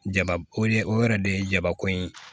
Jaba o de o yɛrɛ de ye jabako ye